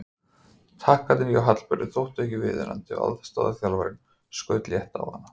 Taktarnir hjá Hallberu þóttu ekki viðunandi og aðstoðarþjálfarinn skaut létt á hana.